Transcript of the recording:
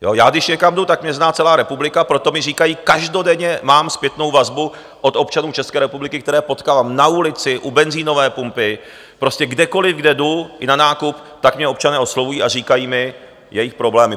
Já když někam jdu, tak mě zná celá republika, proto mi říkají - každodenně mám zpětnou vazbu od občanů České republiky, které potkávám na ulici, u benzinové pumpy, prostě kdekoliv, kde jdu, i na nákup, tak mě občané oslovují a říkají mi jejich problémy.